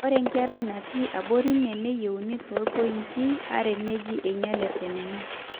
ore inkera naatii abori ine neyieuni toompointi are neji einyalate nena